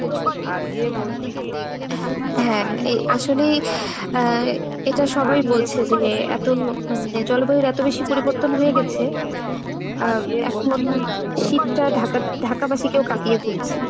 হ্যাঁ আসলেই আহ এটা সবাই বলছে যে এতো মানে জলবায়ুর এতো বেশি পরিবর্তন হয়ে গেছে আহ এখন শীতটা Dhaka Dhaka বাসীকেও কাঁপিয়ে ফেলছে।